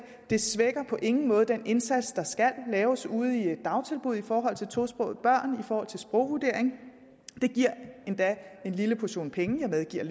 det svækker på ingen måde den indsats der skal laves ude i dagtilbud for tosprogede børn i forhold til sprogvurdering det giver endda en lille portion penge jeg medgiver at